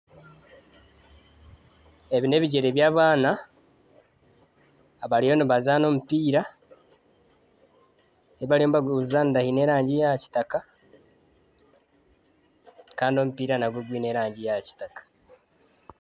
Ebi n'ebigyere by'abaana abariyo nibazaana omupiira ahi bariyo nibaguzaanira hiine erangi ya kitaka kandi omupiira nangwo gwiine erangi ya kitaka.